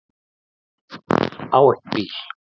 Á ekki bíl.